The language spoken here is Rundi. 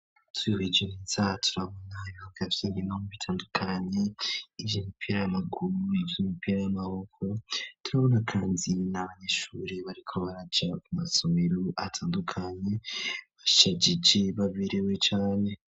Tuyuhije mi za turabona ibihuka vyenginomu bitandukanye ivyo mipira y'amaguru ivyo mipira y'amaboko turabona kanzi na banyishure bariko baraja ku masomiro atandukanye bashejiji babirewe cane.